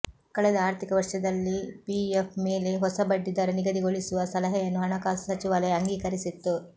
ಕಳೆದ ಆರ್ಥಿಕ ವರ್ಷದಲ್ಲಿ ಪಿಎಫ್ ಮೇಲೆ ಹೊಸ ಬಡ್ಡಿ ದರ ನಿಗದಿಗೊಳಿಸುವ ಸಲಹೆಯನ್ನು ಹಣಕಾಸು ಸಚಿವಾಲಯ ಅಂಗೀಕರಿಸಿತ್ತು